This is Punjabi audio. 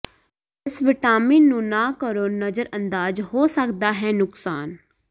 ਇਸ ਵਿਟਾਮਿਨ ਨੂੰ ਨਾ ਕਰੋ ਨਜ਼ਰਅੰਦਾਜ਼ ਹੋ ਸਕਦਾ ਹੈ ਨੁਕਸਾਨ